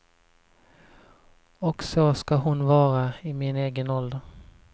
Och så ska hon vara i min egen ålder.